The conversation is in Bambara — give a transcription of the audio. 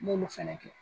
N m'olu fɛnɛ kɛ